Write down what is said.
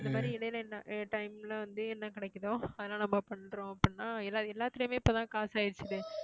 அந்த மாதிரி இடையில என்ன time ல வந்து என்ன கிடைக்குதோ அதெல்லாம் நம்ம பண்றோம் அப்படின்னா எல்லா~ எல்லாத்துலயுமே இப்பதான் காசு ஆயிடுச்சுசே